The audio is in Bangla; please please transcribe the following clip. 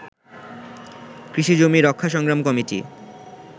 কৃষিজমি রক্ষা সংগ্রাম কমিটি